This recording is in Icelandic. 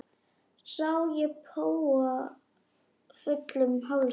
Sá ég spóa fullum hálsi.